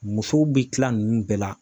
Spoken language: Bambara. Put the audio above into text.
Muso bɛ kila ninnu bɛɛ la.